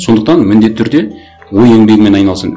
сондықтан міндетті түрде ой еңбегімен